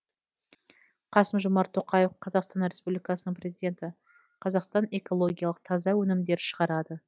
қасым жомарт тоқаев қазақстан республикасының президенті қазақстан экологиялық таза өнімдер шығарады